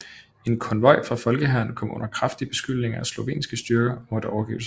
En konvoj fra Folkehæren kom under kraftig beskydning af slovenske styrker og måtte overgive sig